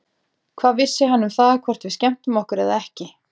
Hvað vissi hann um það, hvort við skemmtum okkur eða ekki?